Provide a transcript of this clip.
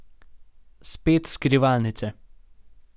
Spet skrivalnice.